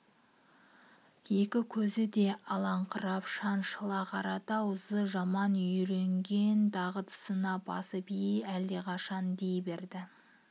екі көзі де аларыңқырап шаншыла қарады ау зы жаман үйренген дағдысына басып е-е әлдеқашан дей берді